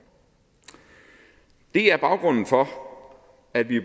det er baggrunden for at vi